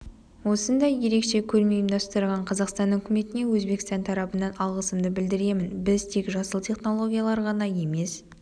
осындай ерекше көрме ұйымдастырған қазақстан үкіметіне өзбекстан тарабынан алғысымды білдіремін біз тек жасыл технологиялар ғана емес